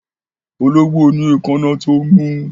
Ológbò ní èkáná tó mú